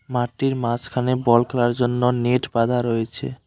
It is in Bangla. মাঠটির মাঝখানে বল খেলার জন্য নেট বাঁধা রয়েছে।